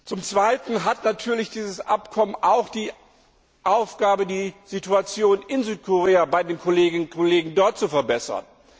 Zum Zweiten hat dieses Abkommen auch die Aufgabe, die Situation in Südkorea bei den Kolleginnen und Kollegen dort zu verbessern.